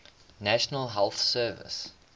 national health service